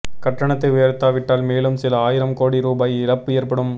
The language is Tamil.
கட்டணத்தை உயர்த்தாவிட்டால் மேலும் சில ஆயிரம் கோடி ரூபாய் இழப்பு ஏற்படும்